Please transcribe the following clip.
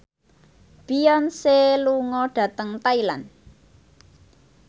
Beyonce lunga dhateng Thailand